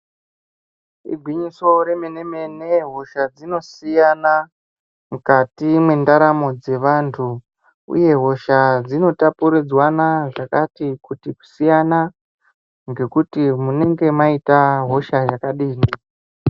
Igwinyiso remene-mene hosha dzinosiyana mukati mwendaramo dzevantu uye hosha dzinotapuridzwana zvakatikuti kusiyana ngekuti munenge maita hosha yakadini.